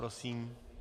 Prosím.